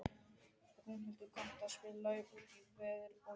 Rúnhildur, kanntu að spila lagið „Út í veður og vind“?